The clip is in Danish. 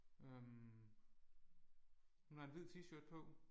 Øh hun har en hvid t-shirt på